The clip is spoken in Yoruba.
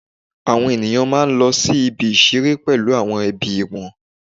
Àwọn ènìyàn máa ń lọ sí ibi ìṣeré pẹ̀lú àwọn ẹbí wọn